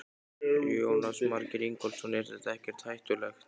Jónas Margeir Ingólfsson: Er þetta ekkert hættulegt?